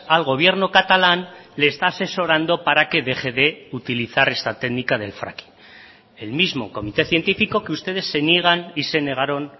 al gobierno catalán le está asesorando para que deje de utilizar esta técnica del fracking el mismo comité científico que ustedes se niegan y se negaron